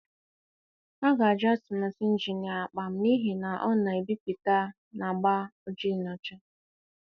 A ga-ajụ atụmatụ Injinia Akpan n'ihi na ọ na-ebipụta na agba ojii na ọcha.